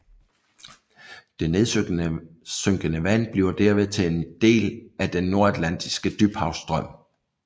Det nedsynkende vand bliver derved til en del af Den Nordatlantiske Dybhavsstrøm